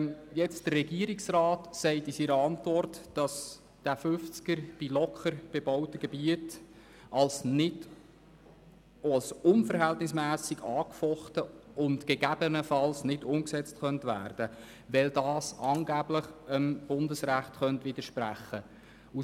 Der Regierungsrat weist in seiner Antwort darauf hin, dass eine Geschwindigkeitsbegrenzung von 50 km/h in locker bebauten Gebieten als unverhältnismässig angefochten und gegebenenfalls nicht umgesetzt werden könnte, weil dies angeblich Bundesrecht widersprechen würde.